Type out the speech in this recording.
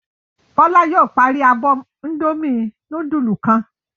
Bọ́lá yóò parí abọ́ Indomie núdúlù kan.